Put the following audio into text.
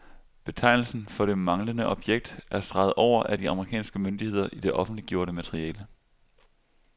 Betegnelsen for det manglende objekt er streget over af de amerikanske myndigheder i det offentliggjorte materiale.